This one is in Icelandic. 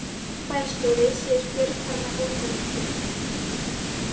Bæjarstjóri segir Björk fara með ósannindi